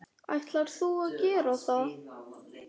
Ætlar þú að gera það?